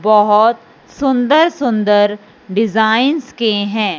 बहोत सुंदर-सुंदर डिजाइंस के हैं।